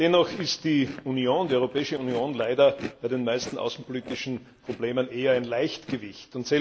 Dennoch ist die Europäische Union leider bei den meisten außenpolitischen Problemen eher ein Leichtgewicht.